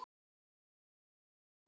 Já, við erum að flytja.